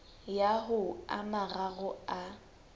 ya ho a mararo a